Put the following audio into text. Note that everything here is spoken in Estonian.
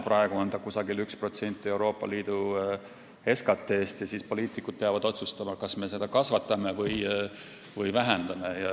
Praegu on see umbes 1% Euroopa Liidu SKT-st ja poliitikud peavad otsustama, kas me seda kasvatame või vähendame.